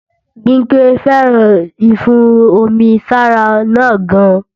Bimpe féràn ìfún-omi-sára náà gan